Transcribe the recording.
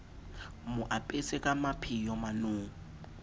mo apese ka mapheo manong